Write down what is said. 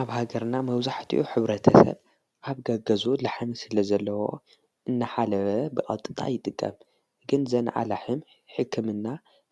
ኣብ ሃገርና መውዙሕቲኡ ኅብረተሰብ ኣብ ገገዙት ለሓን ስለ ዘለዎ እናሓለበ ብዕጥጣ ይጥቀም ግን ዘን ዓላሕም ሕክምና